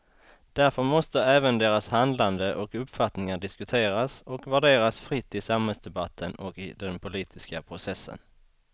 Därför måste även deras handlande och uppfattningar diskuteras och värderas fritt i samhällsdebatten och i den politiska processen.